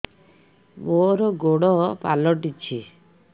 ମୋର ଗୋଡ଼ ପାଲଟିଛି